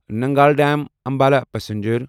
Nangal dam Ambala passenger